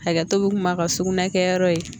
Hakɛto bi kuma kan sugunɛ kɛyɔrɔ ye